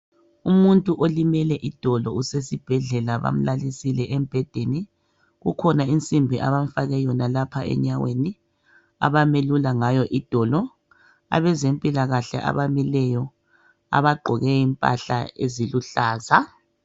Umuntu olimele idolo usesibhedlela bamlalisile embhedeni. Kukhona insimbi abamfake yona lapha enyaweni ,abamelula ngayo idolo . Abezempilakahle abamileyo abagqoke impahla eziluhlaza.